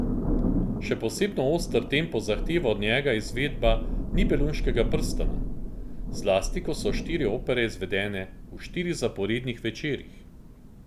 Še posebno oster tempo zahteva od njega izvedba Nibelunškega prstana, zlasti ko so štiri opere izvedene v štirih zaporednih večerih.